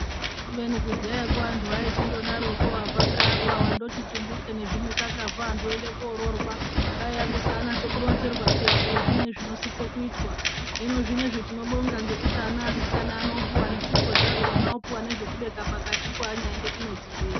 Kubeni kudhayako vantu vaichingodaroko vabva ngeapa vandoti tumbuke nezvimikakazvo vakuende kororwa kwaiya kusanyasa kuronzerwa peya. Kuti zviini zvinosiso kuitwa hino zvinozvi tinobonga ngekuti ana evasikana anopuva nesipo dzakona opuva nezvekubeka pakatipo anyaende kumwedzi zviya.